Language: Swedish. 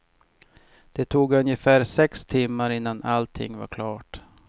Det tog ungefär sex timmar innan allting var klart.